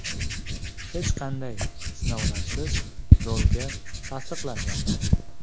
Hech qanday sinovlarsiz rolga tasdiqlanganman.